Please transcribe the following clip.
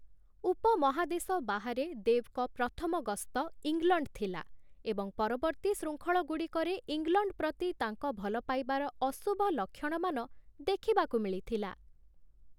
ଉପ-ମହାଦେଶ ବାହାରେ ଦେବ୍‌ଙ୍କ ପ୍ରଥମ ଗସ୍ତ ଇଂଲଣ୍ଡ ଥିଲା ଏବଂ ପରବର୍ତ୍ତୀ ଶୃଙ୍ଖଳଗୁଡ଼ିକରେ ଇଂଲଣ୍ଡ ପ୍ରତି ତାଙ୍କ ଭଲପାଇବାର ଅଶୁଭ ଲକ୍ଷଣମାନ ଦେଖିବାକୁ ମିଳିଥିଲା ।